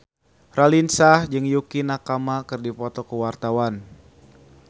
Raline Shah jeung Yukie Nakama keur dipoto ku wartawan